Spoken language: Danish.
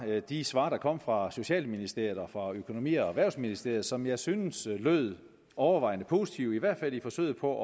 ved er de svar der kom fra socialministeriet og økonomi og erhvervsministeriet som jeg synes lød overvejende positive i hvert fald i forsøget på